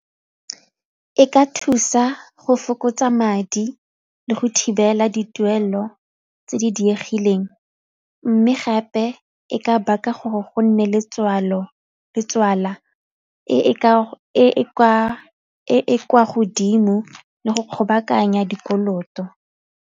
E ka thusa go fokotsa madi le go thibela dituelo tse di diegileng mme gape e ka baka gore go nne e e kwa godimo le go kgobokanya dikoloto.